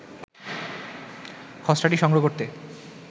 খসড়াটি সংগ্রহ করতে